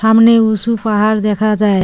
সামনে উঁসু পাহাড় দেখা যায়।